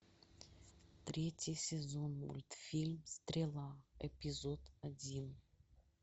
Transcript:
третий сезон мультфильм стрела эпизод один